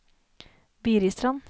Biristrand